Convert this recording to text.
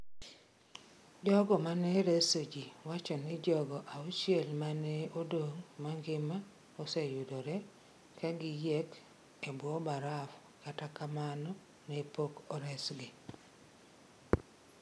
Jogo ma ne reso ji wacho ni jogo auchiel ma ne odong’ mangima oseyudore ka giyiek e bwo baraf, kata kamano, ne pok oresgi.